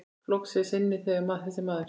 Flokks er sinni þessi maður.